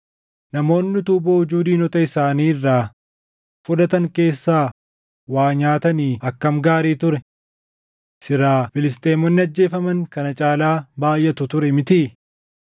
Namoonni utuu boojuu diinota isaanii irraa fudhatan keessaa waa nyaatanii akkam gaarii ture. Silaa Filisxeemonni ajjeefaman kana caalaa baayʼatu ture mitii?”